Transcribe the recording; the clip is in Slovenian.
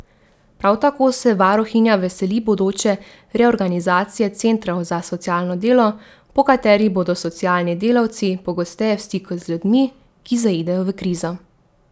Prav tako se varuhinja veseli bodoče reorganizacije centrov za socialno delo, po kateri bodo socialni delavci pogosteje v stiku z ljudmi, ki zaidejo v krizo.